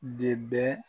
De bɛ